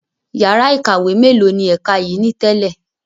Yàrá ìkàwé mélòó ni ẹ̀ka yìí ni tẹ́lẹ̀?